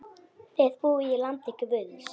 Þið búið í landi guðs.